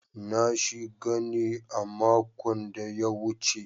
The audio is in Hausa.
Na shiga ne a makon da ya wuce.